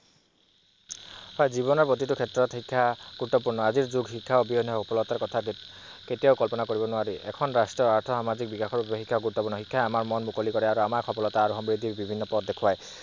হয়, জীৱনৰ প্ৰতিটো ক্ষেত্ৰত শিক্ষা গুৰুত্বপূৰ্ণ, আজি যুগত শিক্ষা অবিহনে সফলতা কথা চিন্তা কৰিব নোৱাৰে। এখন ৰাষ্ট্ৰ আৰ্থসামাজিক বিকাশত গুৰুত্বপূৰ্ণ, শিক্ষাই মন মুকলি কৰে আৰু আমাৰ সফলতা আৰু সমৃদ্ধিৰ বিভিন্ন পথ দেখুৱায়।